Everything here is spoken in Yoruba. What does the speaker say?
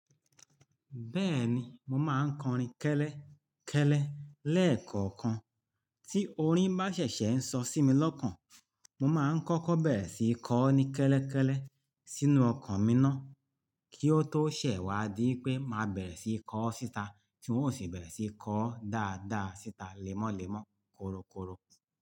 Bẹ́ẹ̀ni, mo máa ń kọrin kẹ́lẹ́ kẹ́lẹ́ lẹ́ẹ̀kọ̀ọ̀kan. Tí orin bá ṣẹ̀ṣẹ̀ ń sọ sí mi lọ́kàn, mo má ń kọ́kọ́ bẹ̀rẹ̀ sí í kọ ọ́ ní kẹ́lẹ́ kẹ́lẹ́ sínú ọkàn mi ná, kí ó tó ṣẹ̀ wá di pé máa bẹ̀rẹ̀ sí í kọ ọ́ síta tí n ó sì bẹ̀rẹ̀ sí í kọ ọ́ dáadáa síta lẹ́mọ́lẹ́mọ́ kórókóró.